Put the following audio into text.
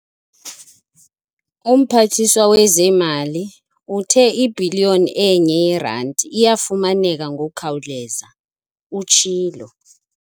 "UMphathiswa wezeeMali uthe ibhiliyoni enye yeeranti iyafumaneka ngokukhawuleza," utshilo.